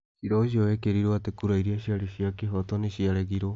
Ciira ũcio wekĩrirũo atĩ kura iria ciarĩ cia kĩhooto nĩ ciaregirũo.